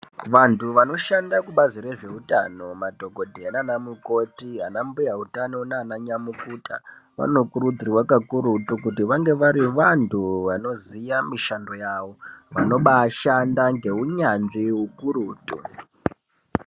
Vanthu vanoshanda kubazi rezveutano ,madhokodheya naanamukoti, anambuya utano naananyamukuta, vanokurudzirwa kakurutu kuti vange vari vantu vanoziya mishando yavo, vanobaashanda ngeunyanzvi ukurutu.